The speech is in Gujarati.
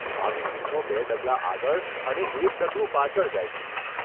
આવી ફિલ્મો બે ડગલા આગળ અને એક ડગલું પાછળ જાય છે.